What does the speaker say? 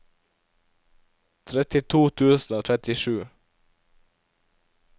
trettito tusen og trettisju